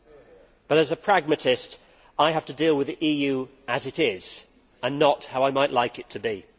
However, as a pragmatist, I have to deal with the EU as it is, and not how I might like it to be.